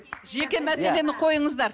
жеке мәселені қойыңыздар